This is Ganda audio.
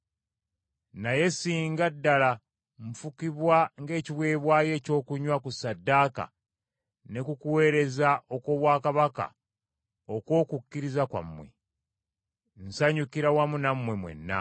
Naye singa ddala nfukibwa ng’ekiweebwayo ekyokunywa ku ssaddaaka ne ku kuweereza okw’obwakabona okw’okukkiriza kwammwe, nsanyukira wamu nammwe mwenna.